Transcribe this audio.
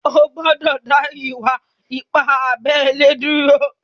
Ò gbọ̀dọ̀ dá ìwà-ìpà àbèlè dúró!